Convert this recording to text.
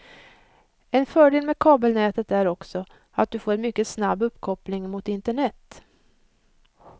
En fördel med kabelnätet är också att du får en mycket snabb uppkoppling mot internet.